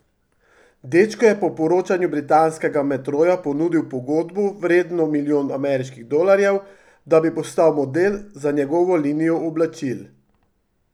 Dečku je po poročanju britanskega Metroja ponudil pogodbo vredno milijon ameriških dolarjev, da bi postal model za njegovo linijo oblačil.